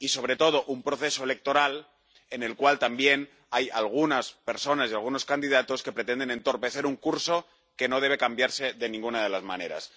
Y, sobre todo, un proceso electoral en el cual también hay algunas personas y algunos candidatos que pretenden entorpecer un curso que no debe cambiarse de ninguna de las maneras.